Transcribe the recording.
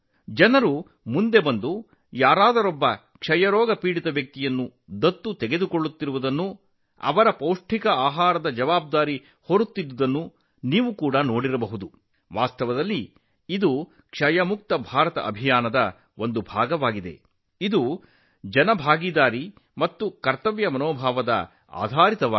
ಜನರು ಮುಂದೆ ಬಂದು ಟಿಬಿ ರೋಗಿಯನ್ನು ದತ್ತು ತೆಗೆದುಕೊಳ್ಳುತ್ತಿರುವುದನ್ನು ಮತ್ತು ಪೌಷ್ಟಿಕಾಂಶದ ಆಹಾರವನ್ನು ಖಾತ್ರಿಪಡಿಸಿಕೊಳ್ಳುವಲ್ಲಿ ಮುಂದಾಳತ್ವ ವಹಿಸುತ್ತಿರುವುದನ್ನು ನೀವು ನೋಡಿರಬೇಕು ವಾಸ್ತವವಾಗಿ ಇದು ಕ್ಷಯ ಮುಕ್ತ ಭಾರತ ಅಭಿಯಾನದ ಒಂದು ಭಾಗವಾಗಿದೆ ಇದರ ಆಧಾರವೇ ಸಾರ್ವಜನಿಕ ಭಾಗವಹಿಸುವಿಕೆಯಾಗಿದೆ ಕರ್ತವ್ಯ ಪ್ರಜ್ಞೆ